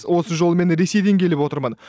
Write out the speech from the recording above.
осы жолы мен ресейден келіп отырмын